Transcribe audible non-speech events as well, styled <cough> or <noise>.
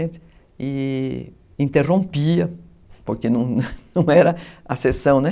E interrompia, porque não <laughs> era a sessão, né?